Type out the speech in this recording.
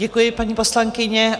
Děkuji, paní poslankyně.